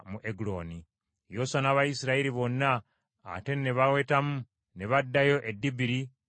Yoswa n’Abayisirayiri bonna ate ne bawetamu ne baddayo e Debiri ne bakikuba.